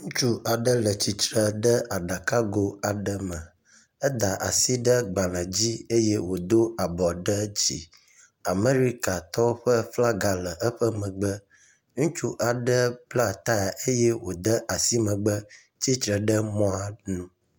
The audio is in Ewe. Ŋutsu aɖe le tsitre ɖe aɖakago aɖe me, eda asi ɖe gbalẽ dzi eye wòdo abɔ ɖe dzi. Amerikatɔwo ƒe flaga le eƒe megbe. Ŋutsu aɖe bla taya eye wòde asi megbe tsitre ɖe mɔa nu.